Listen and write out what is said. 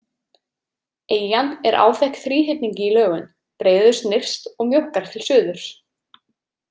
Eyjan er áþekk þríhyrningi í lögun, breiðust nyrst og mjókkar til suðurs.